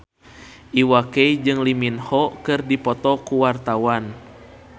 Iwa K jeung Lee Min Ho keur dipoto ku wartawan